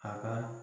A ka